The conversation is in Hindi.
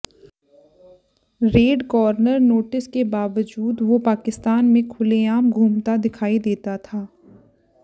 रेड कॉर्नर नोटिस के बावजूद वो पाकिस्तान में खुलेआम घूमता दिखाई देता था